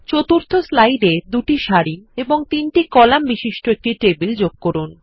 চতুর্থ স্লাইডে ২ টি কলাম ও ৩ টি সারি বিশিষ্ট একটি টেবিল যেগ করুন